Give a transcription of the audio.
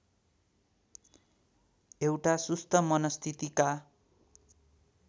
एउटा सुस्त मनस्थितिका